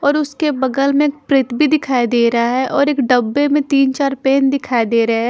और उसके बगल में एक प्रित भी दिखाई दे रहा है और एक डब्बे में तीन चार पेन दिखाई दे रहे हे ।